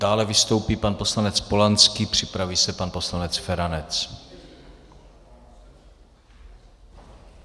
Dále vystoupí pan poslanec Polanský, připraví se pan poslanec Feranec.